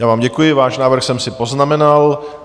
Já vám děkuji, váš návrh jsem si poznamenal.